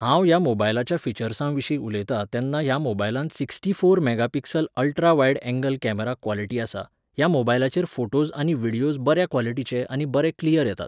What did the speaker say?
हांव ह्या मोबायलाच्या फिचर्सांविशीं उलयतां तेन्ना ह्या मोबायलांत sixty four mega pixel ultrawide angle camera quality आसा, ह्या मोबायलाचेर फोटोस आनी व्हिडयोस बऱ्या क्वॉलिटीचे आनी बरे क्लियर येतात